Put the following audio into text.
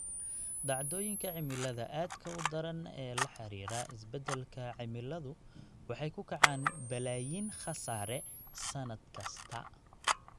Dhacdooyinka cimilada aadka u daran ee la xidhiidha isbeddelka cimiladu waxay ku kacaan balaayiin khasaare sannad kasta.